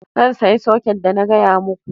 Zan sayi soket da na gaya muku